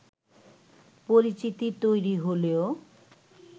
পরিচিতি তৈরি হলেও